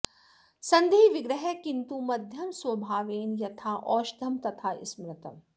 सन्धि विग्रह किन्तु मद्यं स्वभावेन यथा औषधं तथा स्मृतम्